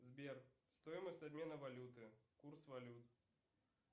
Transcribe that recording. сбер стоимость обмена валюты курс валют